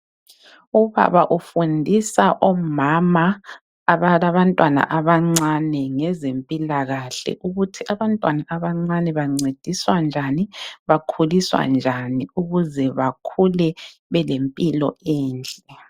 Ubaba ufundisa omama abalabantwana abancane ngezempilakahle ukuthi abantwana abancane bancediswa njani bakhuliswa njani ukuze bakhule belempilo enhle